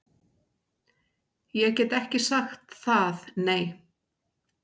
Ég get ekki sagt það, nei